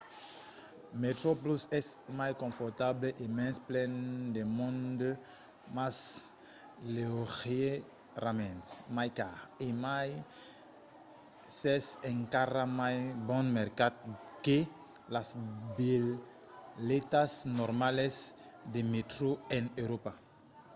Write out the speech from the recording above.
metroplus es mai confortable e mens plen de monde mas leugièrament mai car e mai s'es encara mai bon mercat que las bilhetas normalas de mètro en euròpa